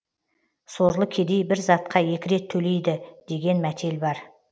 сорлы кедей бір затқа екі рет төлейді деген мәтел бар